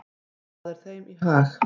Það er þeim í hag.